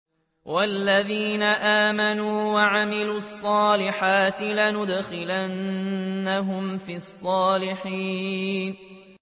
وَالَّذِينَ آمَنُوا وَعَمِلُوا الصَّالِحَاتِ لَنُدْخِلَنَّهُمْ فِي الصَّالِحِينَ